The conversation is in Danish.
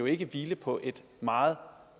ikke hvile på et meget